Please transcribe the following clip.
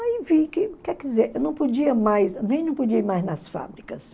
Aí vi que, quer dizer, eu não podia nem não podia ir mais nas fábricas.